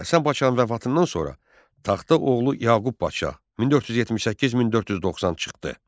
Həsən Padşahın vəfatından sonra taxta oğlu Yaqub Padşah 1478-1490 çıxdı.